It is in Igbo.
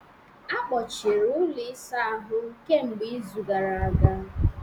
Akpọchiri ụlọ ịsa ahụ kemgbe izu gara aga